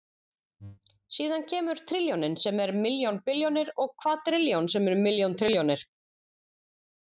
Síðan kemur trilljónin sem er milljón billjónir og kvadrilljón sem er milljón trilljónir.